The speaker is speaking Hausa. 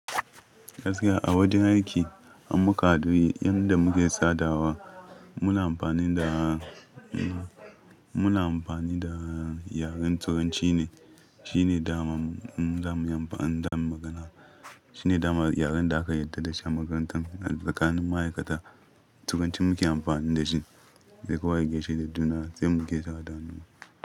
Gaskiya a wajen aiki in muka hadu, yanda muke sadawa muna amfani da, muna amfani da yaren Turanci ne. Shi ne daman za mu yi amfani zamuyi magana. Shi ne damar yaren da aka yarda da shi a makarantar tsakanin ma'aikata. Turanci muke amfani da shi. Sai kowa ya gaishe da juna sai mu gaisawa.